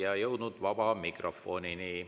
Oleme jõudnud vaba mikrofonini.